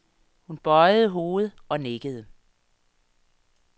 Hun bøjede hovedet og nikkede.